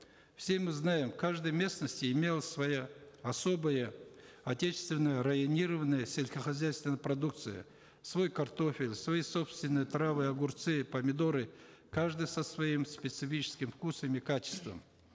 все мы знаем в каждой местности имелась своя особая отечественная районированная сельскохозяйственная продукция свой картофель свои собственные травы огурцы и помидоры каждый со своим специфическим вкусом и качеством